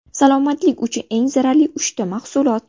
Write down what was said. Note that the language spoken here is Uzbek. Salomatlik uchun eng zararli uchta mahsulot.